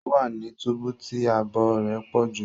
O wa ní túbú tí ààbò rẹ pọju